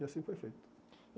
E assim foi feito.